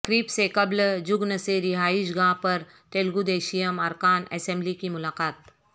تقریب سے قبل جگن سے رہائش گاہ پر تلگودیشم ارکان اسمبلی کی ملاقات